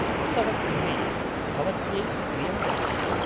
उत्सवक्रमे भवत्यै प्रियं वस्तु किम् ?